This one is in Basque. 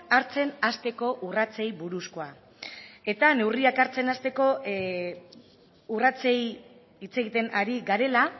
hartzen hasteko urratsei buruzkoa eta neurriak hartzen hasteko urratsei hitz egiten ari garela